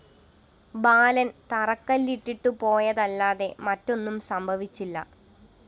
ബാലന്‍ തറക്കല്ലിട്ടിട്ടു പോയതല്ലാതെ മറ്റൊന്നും സംഭവിച്ചില്ല